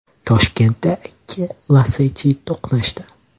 Toshkentda ikki Lacetti to‘qnashdi.